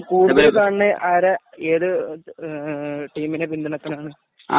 കൂടുതലും ആരാ ഏതു ടീമിനെ പിന്തുണക്കലാണ്‌ ?